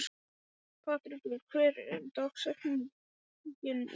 Patrekur, hver er dagsetningin í dag?